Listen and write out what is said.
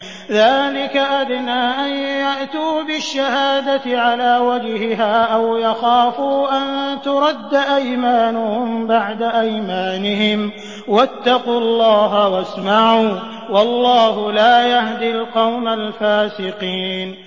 ذَٰلِكَ أَدْنَىٰ أَن يَأْتُوا بِالشَّهَادَةِ عَلَىٰ وَجْهِهَا أَوْ يَخَافُوا أَن تُرَدَّ أَيْمَانٌ بَعْدَ أَيْمَانِهِمْ ۗ وَاتَّقُوا اللَّهَ وَاسْمَعُوا ۗ وَاللَّهُ لَا يَهْدِي الْقَوْمَ الْفَاسِقِينَ